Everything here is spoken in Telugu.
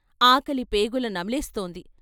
ఆకలి పేగుల నమిలేస్తోంది.